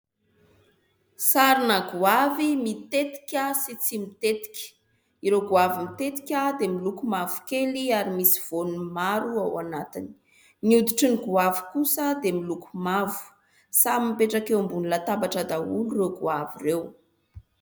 Sarina goavy mitetika sy tsy mitetika. Ireo goavy mitetika dia miloko mavokely ary misy voany maro ao anatiny. Ny hoditry ny goavy kosa dia miloko mavo. Samy mipetraka eo ambony latabatra daholo ireo goavy ireo.